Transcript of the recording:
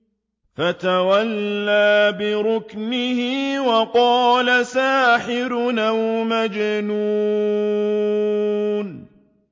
فَتَوَلَّىٰ بِرُكْنِهِ وَقَالَ سَاحِرٌ أَوْ مَجْنُونٌ